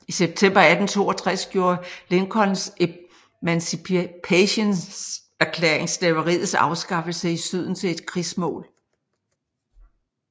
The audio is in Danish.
I september 1862 gjorde Lincolns Emancipationserklæring slaveriets afskaffelse i Syden til et krigsmål